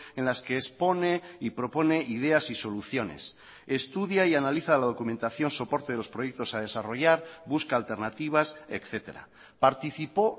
en las que expone y propone ideas y soluciones estudia y analiza la documentación soporte de los proyectos a desarrollar busca alternativas etcétera participó